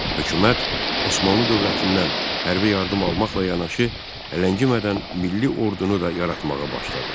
Hökumət Osmanlı dövlətindən hərbi yardım almaqla yanaşı, ələngimədən milli ordunu da yaratmağa başladı.